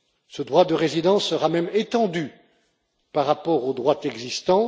Ce droit de résidence sera même étendu par rapport au droit existant.